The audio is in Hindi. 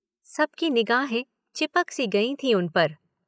सब की निगाहें चिपकी सी गई थीं उन पर।